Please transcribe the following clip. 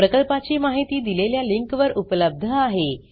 प्रकल्पाची माहिती दिलेल्या लिंकवर उपलब्ध आहे